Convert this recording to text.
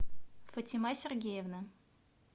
фатима сергеевна